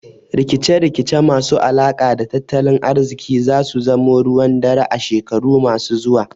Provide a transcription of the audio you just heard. Rikice rikice masu alaka da tattalin ariziki zasu zamo ruwan dare a shekaru masu zuwa